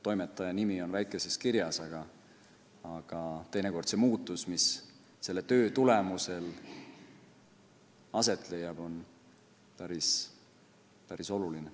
Toimetaja nimi on väikeses kirjas, aga teinekord see muutus, mis tema töö tulemusel aset leiab, on päris oluline.